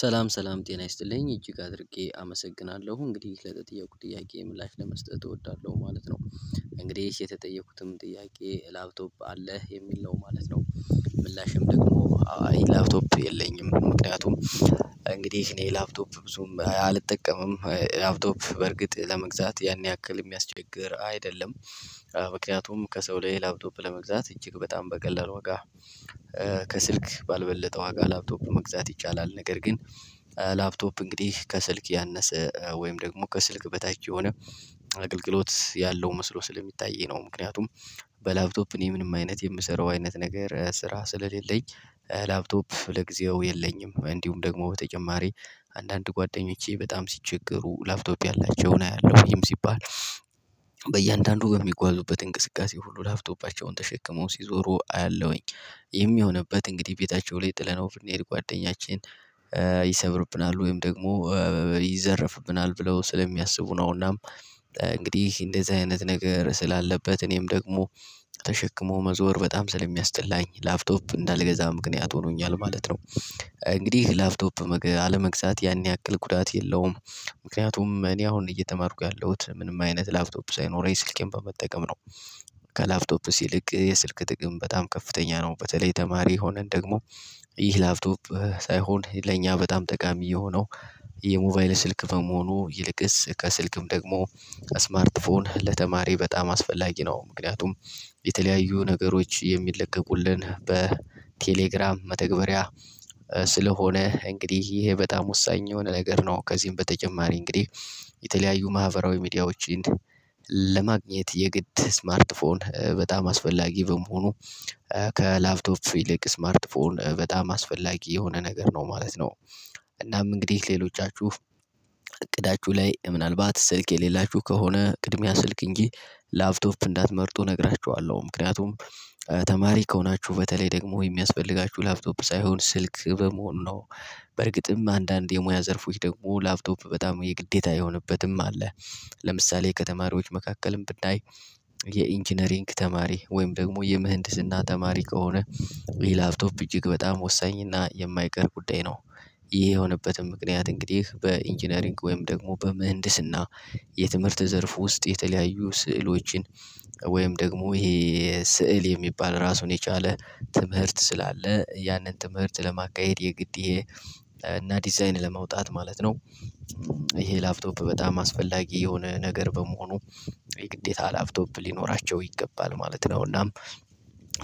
ሰላም ሰላም ጤና ይስጥልኝ እጅግ አድርጌ አመሰግናለሁ። እንግዲህ ለተጠየኩት ጥያቄ ምላሽ ለመስጠት እወዳለሁ ማለት ነው። እንግዲህ የተጠየኩትም ጥያቄ ላፕቶፕ አለህ? የሚል ነው ማለት ነው። ምላሼም ደግሞ አይ ላፕቶፕ የለኝም። ምክንያቱም እንግዲህ እኔ ላፕቶፕ ብዙም አልጠቀምም። ላፕቶፕ በርግጥ ለመግዛት ያን ያክል የሚያስቸግር አይደለም። ምክንያቱም ከሰው ላይ ላፕቶፕ ለመግዛት እጅግ በጣም በቀላል ዋጋ ከስልክ ባልበለጠ ዋጋ ላፕቶፕ መግዛት ይቻላል። ነገር ግን ላፕቶፕ እንግዲህ ከስልክ ያነሰ፤ ወይም ደግሞ ከስልክ በታች የሆነ አገልግሎት ያለው መስሎ ስለሚታየኝ ነው። ምክንያቱም በላፕቶፕ እኔ ምንም አይነት የምሰራው አይነት ነገር ስራ ስለሌለኝ፤ ላፕቶፕ ለጊዜው የለኝም። እንዲሁም ደግሞ በተጨማሪ አንዳንድ ጓደኞቼ በጣም ሲቸገሩ ላፕቶፕ ያላቸውን አያለሁ። ይህም ሲባል በእያንዳንዱ በሚጓዙበት እንቅስቃሴ ሁሉ ላፕቶፓቸውን ተሸክመው ሲዞሩ አያለሁኝ። የሚሆንበት እንግዲህ ቤታቸው ላይ ጥለነው ብንሄድ ጓደኛችን ይሰብርብናል ወይም ደግሞ ይዘረፍብናል ብለው ስለሚያስቡ ነው። እና እንግዲህ እንደዚህ አይነት ነገር ስላለበት እኔም ደግሞ ተሸክሞ መዞር በጣም ስለሚያስጠላኝ ላፕቶፕ እንዳልገዛ ምክንያት ሆኖኛል ማለት ነው። እንግዲህ ላፕቶፕ አለመግዛት ያን ያክል ጉዳት የለውም። ምክንያቱም እኔ አሁን እየተማርኩ ያለሁት ምንም አይነት ላፕቶፕ ሳይኖረኝ ስልኬን በመጠቀም ነው። ከላፕቶፕስ የስልክ የስልክ ጥቅም በጣም ከፍተኛ ነው። በተለይ ተማሪ የሆነን ደግሞ ይህ ላፕቶፕ ሳይሆን ለኛ በጣም ጠቃሚ የሆነው የሞባይል ስልክ በመሆኑ ይልቅስ ከስልክም ደግሞ ስማርት ፎን ለተማሪ በጣም አስፈላጊ ነው። ምክንያቱም የተለያዩ ነገሮች የሚለቀቁልን በቴሌግራም መተግበሪያ ስለሆነ እንግዲህ ይሄ በጣም ወሳኝ የሆነ ነገር ነው። ከዚህም በተጨማሪ እንግዲህ የተለያዩ ማህበራዊ ሚዲያዎችን ለማግኘት የግድ ስማርት ፎን በጣም አስፈላጊ በመሆኑ ከላፕቶፕ ይለቅ ስማርትፎን በጣም አስፈላጊ የሆነ ነገር ነው ማለት ነው። እናም እንግዲህ ሌሎቻችሁ እቅዳችሁ ላይ ምናልባት ስልክ የሌላችሁ ከሆነ ቅድሚያ ስልክ እንጂ ላፕቶፕ እንዳትመርጡ እነግራችኋለሁ። ምክንያቱም ተማሪ ከሆናችሁ በተለይ ደግሞ የሚያስፈልጋችሁ ላፕቶፕ ሳይሆን ስልክ በመሆኑ ነው። በርግጥም አንዳንድ የሙያ ዘርፎች ደግሞ ላፕቶፕ በጣም የግዴታ የሆነበትም አለ። ለምሳሌ ከተማሪዎች መካከልም ብናይ የኢንጂነሪንግ ተማሪ ወይም ደግሞ የምህንድስና ተማሪ ከሆነ ይህ ላፕቶፕ እጅግ በጣም ወሳኝና የማይቀር ጉዳይ ነው። ለምሳሌ ከተማሪዎች መካከልም ብናይ የኢንጂነሪንግ ተማሪ ወይም ደግሞ የምህንድስና ተማሪ ከሆነ ይህ ላፕቶፕ እጅግ በጣም ወሳኝና የማይቀር ጉዳይ ነው። ወይም ደግሞ ይሄ ስዕል የሚባል ራሱን የቻለ ትምህርት ስላለ፤ ያንን ትምህርት ለማካሄድ የግድ እና ዲዛይን ለማውጣት ማለት ነው። ይሄ ላፕቶፕ በጣም አስፈላጊ የሆነ ነገር በመሆኑ የግዴታ ላፕቶፕ ሊኖራቸው ይገባል ማለት ነው። እናም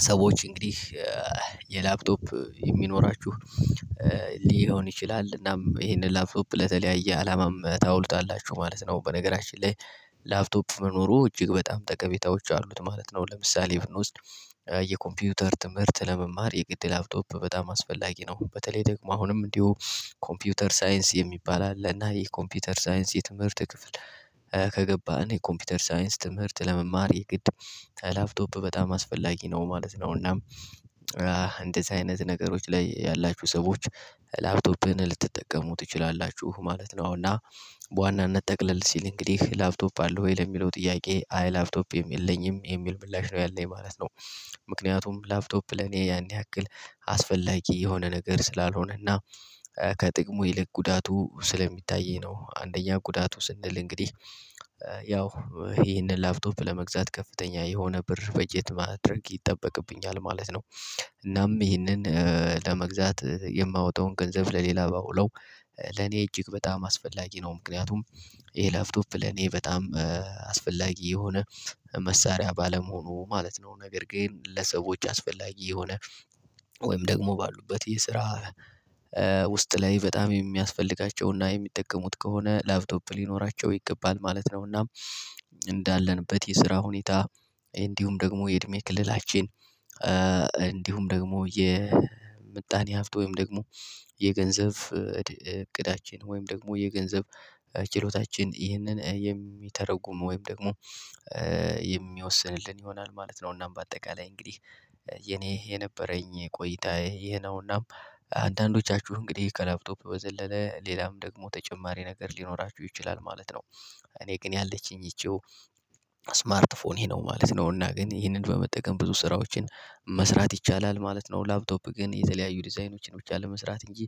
ሰዎች እንግዲህ የላፕቶፕ የሚኖራችሁ ሊሆን ይችላል እናም ይሄንን ላፕቶፕ ለተለያየ አላማም ታውሉታላችሁ ማለት ነው። በነገራችን ላይ ላፕቶፕ መኖሩ እጅግ በጣም ጠቀሜታዎች አሉት ማለት ነው። ለምሳሌ ብንወስድ የኮምፒውተር ትምህርት ለመማር የግድ ላፕቶፕ በጣም አስፈላጊ ነው። በተለይ ደግሞ አሁንም እንዲሁ ኮምፒውተር ሳይንስ የሚባል አለ እና ይህ ኮምፒውተር ሳይንስ የትምህርት ክፍል ከገባን የኮምፒውተር ሳይንስ ትምህርት ለመማር የግድ ላፕቶፕ በጣም አስፈላጊ ነው ማለት ነው። እና እንደዚህ አይነት ነገሮች ላይ ያላችሁ ሰዎች ላፕቶፕን ልትጠቀሙ ትችላላችሁ ማለት ነው። እና በዋናነት ጠቅለል ሲል እንግዲህ ላፕቶፕ አለህ ወይ? ለሚለው ጥያቄ አይ ላፕቶፕ የለኝም የሚል ምላሽ ነው ያለኝ ማለት ነው። ምክንያቱም ላፕቶፕ ለኔ ያን ያክል አስፈላጊ የሆነ ነገር ስላልሆነና ከጥቅሙ ይልቅ ጉዳቱ ስለሚታየኝ ነው። አንደኛ ጉዳቱ ስንል እንግዲህ ያው ይህንን ላፕቶፕ ለመግዛት ከፍተኛ የሆነ ብር በጀት ማድረግ ይጠበቅብኛል ማለት ነው። እናም ይህንን ለመግዛት የማወጣውን ገንዘብ ለሌላ ባውለው ለኔ እጅግ በጣም አስፈላጊ ነው። ምክንያቱም ይሄ ላፕቶፕ ለኔ በጣም አስፈላጊ የሆነ መሳሪያ ባለመሆኑ ማለት ነው። ነገር ግን ለሰዎች አስፈላጊ የሆነ ወይም ደግሞ ባሉበት የስራ ውስጥ ላይ በጣም የሚያስፈልጋቸውና የሚጠቀሙት ከሆነ ላፕቶፕ ሊኖራቸው ይገባል ማለት ነውና እንዳለንበት የስራ ሁኔታ እንዲሁም ደግሞ የእድሜ ክልላችን እንዲሁም ደግሞ የምጣኔ ሀብት ወይም ደግሞ የገንዘብ ዕቅዳችን ወይም ደግሞ የገንዘብ ችሎታችን ይህንን የሚተረጉም ወይም ደግሞ የሚወስንልን ይሆናል ማለት ነው። እናም በአጠቃላይ እንግዲህ የኔ የነበረኝ ቆይታ ይሄ ነው ነውና አንዳንዶቻችሁ እንግዲህ ከላፕቶፕ በዘለለ ሌላም ደግሞ ተጨማሪ ነገር ሊኖራችሁ ይችላል ማለት ነው እኔ ግን ያለችኝ ይቺው ስማርት ፎኔ ነው ማለት ነው። እና ግን ይሄንን በመጠቀም ብዙ ስራዎችን መስራት ይቻላል ማለት ነው። ላፕቶፕ ግን የተለያዩ ዲዛይኖችን ብቻ ለመስራት እንጂ